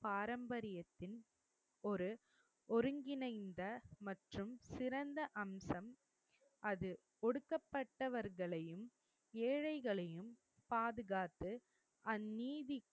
பாரம்பரியத்தின் ஒரு ஒருங்கிணைந்த மற்றும் சிறந்த அம்சம் அது. ஒடுக்கப்பட்டவர்களையும், ஏழைகளையும் பாதுகாத்து அந்நீதி,